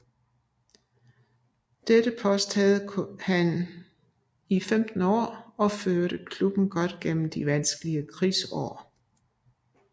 Dette post havde han i 15 år og førte klubben godt igennem de vanskelige krigsår